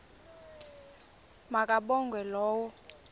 ma kabongwe low